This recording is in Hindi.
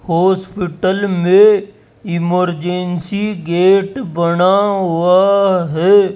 हॉस्पिटल मे इमरजेंसी गेट बना हुआ है।